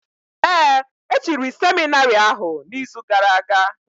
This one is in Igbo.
Ee, e chiri seminarị ahụ n’izu gara aga.